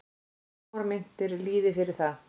Smáar myntir lýði fyrir það.